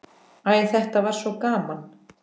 Æ, þetta var svo gaman.